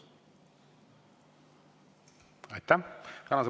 Aitäh!